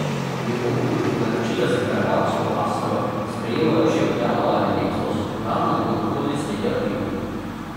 Pri Oplu naročila za karavansko astro sprejemajo že od januarja letos, uradno bo na prodaj sredi aprila.